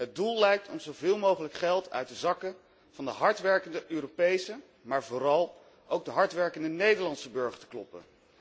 Het doel lijkt om zoveel mogelijk geld uit de zakken van de hardwerkende Europese, maar vooral ook de hardwerkende Nederlandse burger te kloppen.